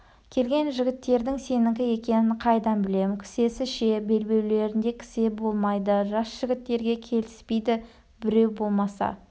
келген жігіттердің сенікі екенін қайдан білем кісесі ше белбеулерінде кісе болмайды жас жігіттерге келіспейді біреу болмаса